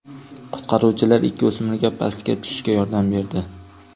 Qutqaruvchilar ikki o‘smirga pastga tushishga yordam berdi.